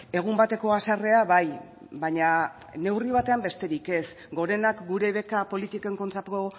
egun bateko haserrea bai baina neurri batean besterik ez gorenak gure beka politiken kontrako